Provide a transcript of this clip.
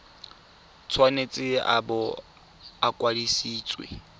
tshwanetse a bo a kwadisitswe